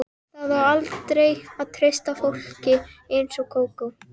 Það á aldrei að treysta fólki eins og Kókó.